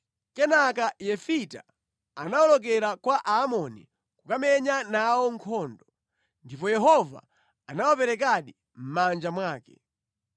Kenaka Yefita anawolokera kwa Aamoni kukamenya nawo nkhondo, ndipo Yehova anawaperekadi mʼmanja mwake.